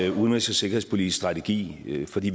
en udenrigs og sikkerhedspolitisk strategi for vi